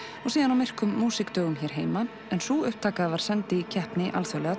og síðan á myrkum músíkdögum hér heima en sú upptaka var send í keppni alþjóðlega